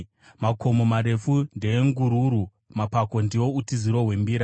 Makomo marefu ndeengururu; mapako ndiwo utiziro hwembira.